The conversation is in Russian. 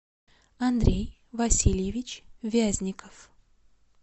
андрей васильевич вязников